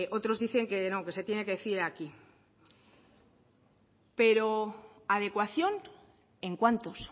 otros dicen que no que se tiene que decir aquí pero adecuación en cuántos